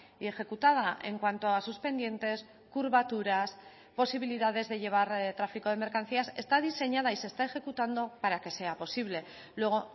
y ejecutada en cuanto a sus pendientes curvaturas posibilidades de llevar tráfico de mercancías está diseñada y se está ejecutando para que sea posible luego